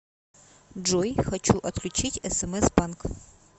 джой хочу отключить смс банк